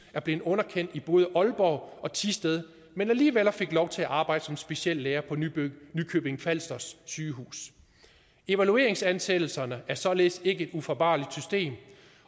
blev underkendt i både aalborg og thisted men alligevel fik lov til at arbejde som speciallæger på nykøbing falster sygehus evalueringsansættelserne er således ikke et ufejlbarligt system